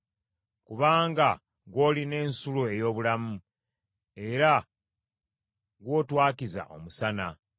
Kubanga gw’olina ensulo ey’obulamu, era gw’otwakiza omusana.